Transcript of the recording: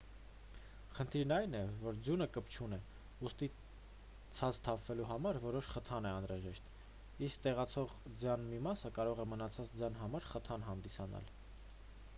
խնդիրն այն է որ ձյունը կպչուն է ուստի ցած թափվելու համար որոշ խթան է անհրաժեշտ իսկ տեղացող ձյան մի մասը կարող է մնացած ձյան համար խթան հանդիսանալ